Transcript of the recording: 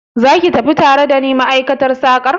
Zaki tafi tare dani ma'aikatar sakar?